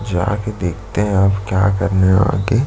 जा के देखते है अब क्या करने है आगे--